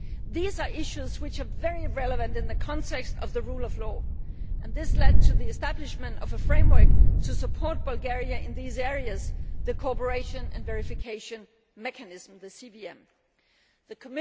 These are issues which are very relevant in the context of the rule of law, and this led to the establishment of a framework to support Bulgaria in these areas the Cooperation and Verification Mechanism The